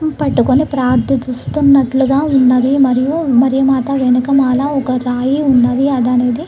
పట్టుకొని ప్రార్థన చూస్తున్నట్లుగా ఉన్నది మరియు మేరీ మాత వెనుక మాల ఒక రాయి ఉన్నది అది అనేది --